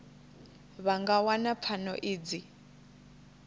vha nga wana pfano idzi